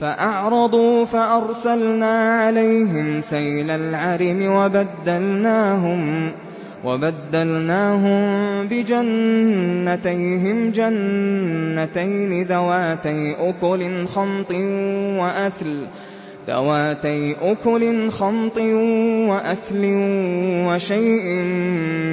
فَأَعْرَضُوا فَأَرْسَلْنَا عَلَيْهِمْ سَيْلَ الْعَرِمِ وَبَدَّلْنَاهُم بِجَنَّتَيْهِمْ جَنَّتَيْنِ ذَوَاتَيْ أُكُلٍ خَمْطٍ وَأَثْلٍ وَشَيْءٍ